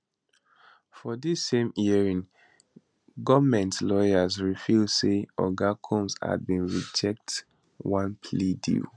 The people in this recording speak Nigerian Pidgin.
for di same hearing goemnt lawyers reveal say oga combs had bin reject one plea deal